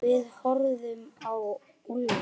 Við horfðum á Úlla.